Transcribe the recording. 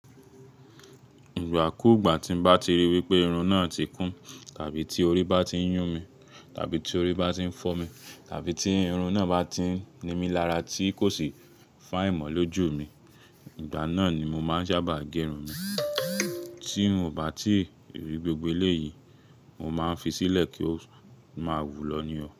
Ìgbà kú gbà tí m bá ti rí wípé irun náà ti kún, tàbí tí orí bá ti ń yún mi, tàbí tí orí bá ti ń fọ́ mi, tàbí tí irun náà bá ti ń ni mí lára tí kò sì fine mọ̀ lójú mi, ìgbà náà ni mo máa ń sábà gé irun mi. Tí mo bá ti rí gbogbo eléyìí, mo máa ń fi sílẹ̀ kí ó máa wù lọ ní ọ̀.